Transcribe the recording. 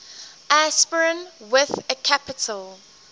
aspirin with a capital